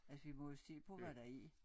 Altså vi må jo se på hvad der er